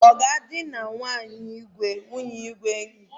Ọ ga-edina nwunye Igwe n'ike?